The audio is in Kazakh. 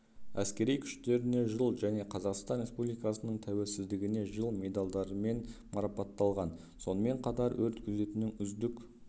әскери күштеріне жыл және қазақстан республикасының тәуелсіздігіне жыл медалдарымен марапатталған сонымен қатар өрт күзетінің үздік